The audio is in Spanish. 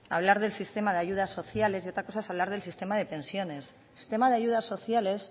hablar del sistema de ayudas sociales y otra cosa es hablar del sistema de pensiones el sistema de ayudas sociales